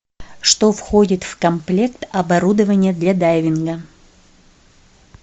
что входит в комплект оборудования для дайвинга